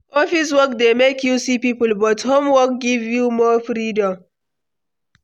Office work dey make you see people, but home work give you more freedom.